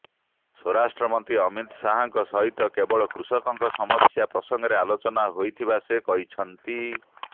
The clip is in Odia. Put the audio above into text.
ସ୍ବରାଷ୍ଟ୍ର ମନ୍ତ୍ରୀ ଅମିତ୍ ଶାହାଙ୍କ ସହିତ କେବଳ କୃଷକଙ୍କ ସମସ୍ୟା ପ୍ରସଙ୍ଗରେ ଆଲୋଚନା ହୋଇଥିବା ସେ କହିଛନ୍ତି